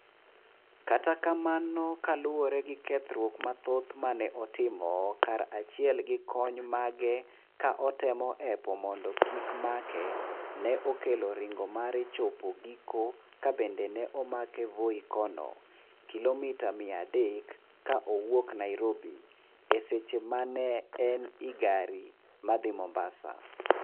Kata kamano kaluwore gi kethruok mathoth maneotimo kara chiel gi jokony mage ka otemo hepo mondo kik make ne okelo ringo mare chopo giko ka bende ne omake Voi kono , kilomita mia adek ka owuok Nairobi, e seche ma ne en i gari ma dhi mombasa